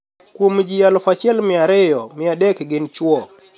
"Kuom ji 1200, 300 gini chwo.